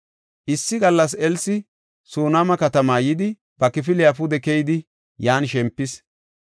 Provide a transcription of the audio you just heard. Issi gallas Elsi Sunaama katama yidi, ba kifiliya pude keyidi yan shempis.